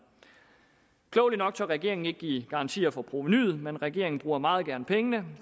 klogeligt nok tør regeringen ikke give garanti for provenuet men regeringen bruger meget gerne pengene